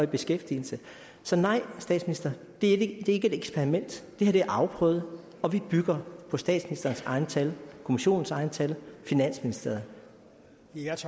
beskæftigelse så nej statsminister det er ikke et eksperiment det her er afprøvet og vi bygger på statsministerens egne tal kommissionens egne tal finansministeriet